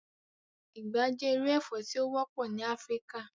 Igba jẹ iru ẹfọ ti o wọpọ ni Afirika